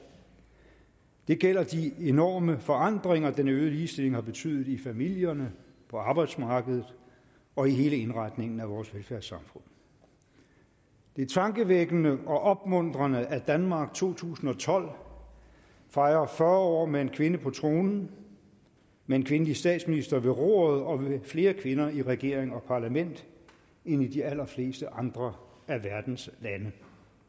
det gælder de enorme forandringer den øgede ligestilling har betydet i familierne på arbejdsmarkedet og i hele indretningen af vores velfærdssamfund det er tankevækkende og opmuntrende at danmark i to tusind og tolv fejrer fyrre år med en kvinde på tronen med en kvindelig statsminister ved roret og med flere kvinder i regering og parlament end i de allerfleste andre af verdens lande